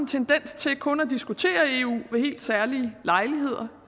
tendens til kun at diskutere eu ved helt særlige lejligheder